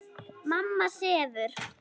Mamma sefur.